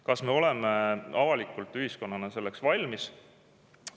Kas me oleme avalikult ühiskonnana selleks valmis?